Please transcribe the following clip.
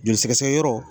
Joli sɛgɛsɛgɛ yɔrɔ